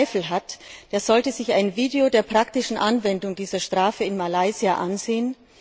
Wer daran Zweifel hat, der sollte sich ein Video der praktischen Anwendung dieser Strafe in Malaysia ansehen.